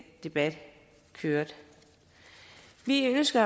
debat kørte vi ønsker